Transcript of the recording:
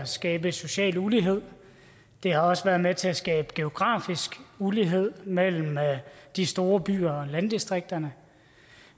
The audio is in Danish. skabe social ulighed det har også været med til at skabe geografisk ulighed mellem de store byer og landdistrikterne